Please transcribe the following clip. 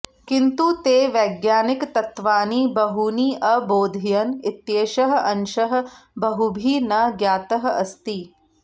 किन्तु ते वैज्ञानिकतत्त्वानि बहूनि अबोधयन् इत्येषः अंशः बहुभिः न ज्ञातः अस्ति